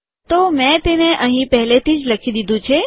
તો મેં તેને અહીં પહેલેથી જ લખી દીધું છે